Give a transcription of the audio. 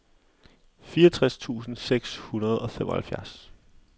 fireogtres tusind seks hundrede og femoghalvfjerds